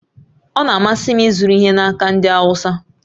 Ọ na-amasị m ịzụrụ ihe n'aka ndị Awụsa